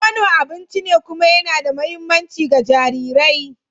Nono abinci ne kuma yana da mahimmanci ga jarirai.